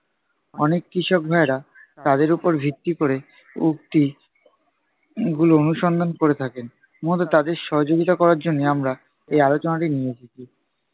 অনেক কৃষক ভায়েরা তাদের ওপর ভিত্তি ক'রে উক্তি উহ গুলো অনুসন্ধান করে থাকেন। মূলত তাদের সহযোগিতা করার জন্য আমরা এই আলোচনাটি নিয়ে এসেছি।